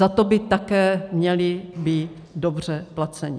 Za to by také měli být dobře placeni.